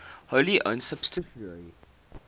wholly owned subsidiary